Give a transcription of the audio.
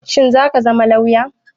Shin zaka zama lauya?